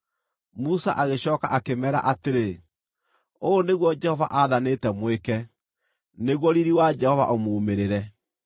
Musa agĩcooka akĩmeera atĩrĩ, “Ũũ nĩguo Jehova aathanĩte mwĩke, nĩguo riiri wa Jehova ũmuumĩrĩre.”